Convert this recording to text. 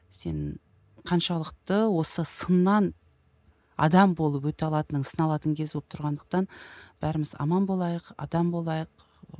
сен қаншалықты осы сыннан адам болып өте алатының сыналатын кез болып тұрғандықтан бәріміз аман болайық адам болайық